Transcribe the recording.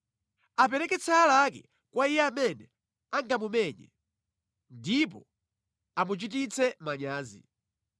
Apereke tsaya lake kwa iye amene angamumenye, ndipo amuchititse manyazi.